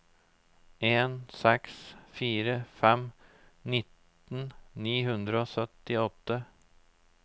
en seks fire fem nitten ni hundre og syttiåtte